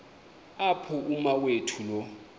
apho umawethu lo